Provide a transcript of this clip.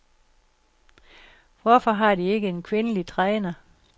Hvorfor har de ikke en kvindelig træner?